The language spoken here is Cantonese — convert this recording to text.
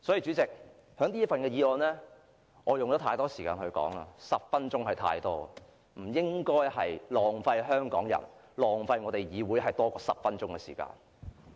主席，我已花太多時間談論這份預算案了 ，10 分鐘已然太多，我不應該浪費香港人、浪費議會多於10分鐘的時間。